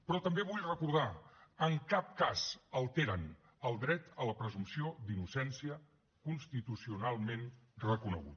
però també vull recordar en cap cas alteren el dret a la presumpció d’innocència constitucionalment reconegut